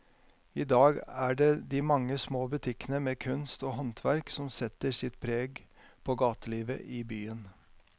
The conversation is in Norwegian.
I dag er det de mange små butikkene med kunst og håndverk som setter sitt preg på gatelivet i byen.